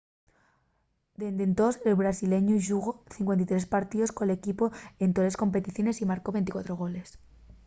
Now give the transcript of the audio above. dende entós el brasileñu xugó 53 partíos col equipu en toles competiciones y marcó 24 goles